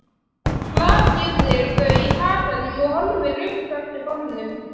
Hrakyrðir þau í huganum og horfir upp eftir hólnum.